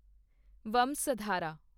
Vansadhara